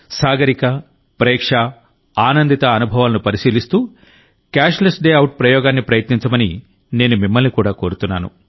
సాగరిక ప్రేక్ష ఆనందిత అనుభవాలను పరిశీలిస్తూ క్యాష్లెస్ డే అవుట్ ప్రయోగాన్ని ప్రయత్నించమని నేను మిమ్మల్ని కూడా కోరుతున్నాను